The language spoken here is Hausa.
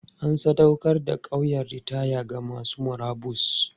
An sadaukar da ƙauyen ritaya ga masu murabus.